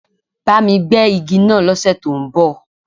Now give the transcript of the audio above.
Bá mi gbẹ́ igi náà lọ́ sẹ̀ tó ń bọ̀.